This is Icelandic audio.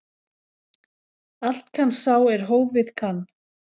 Allt kann sá er hófið kann.